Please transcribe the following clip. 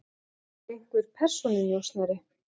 Eins og einhver persónunjósnari.